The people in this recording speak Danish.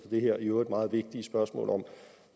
det her i øvrigt meget vigtige spørgsmål om